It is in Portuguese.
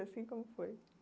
Assim, como foi?